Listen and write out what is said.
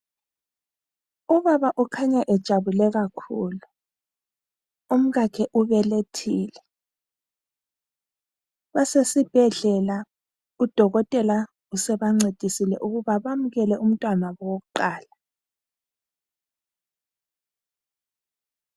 Ubaba ukhanya ejabule kakhulu, umkakhe ubelethile. Basesibhedlela udokotela sebancedisile ukuthi bayamukele umntwana wabo wokuqala.